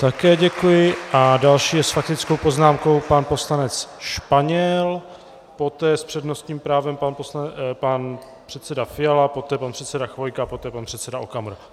Také děkuji a další je s faktickou poznámkou pan poslanec Španěl, poté s přednostním právem pan předseda Fiala, poté pan předseda Chvojka, poté pan předseda Okamura.